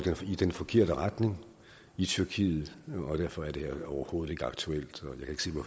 i den forkerte retning i tyrkiet og derfor er det her overhovedet ikke aktuelt